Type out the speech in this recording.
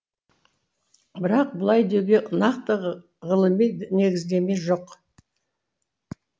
бірақ бұлай деуге нақты ғылыми негіздеме жоқ